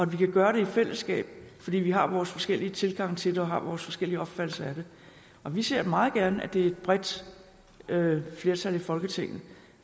vi kan gøre det i fællesskab fordi vi har vores forskellige tilgange til har vores forskellige opfattelser af det og vi ser meget gerne at det er et bredt flertal i folketinget